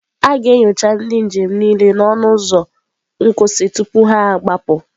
A ga-enyocha ndị njem niile n'ọnụ ụzọ nkwụsị tupu ha agbapụ.